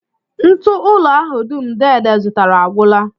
Ntụụlọ ahụ dum deede zụtara agwụla